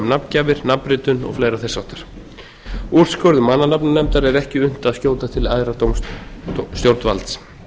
nafngjafir nafnritun og fleira þess háttar úrskurðum mannanafnanefndar er ekki unnt að skjóta til æðra stjórnvalds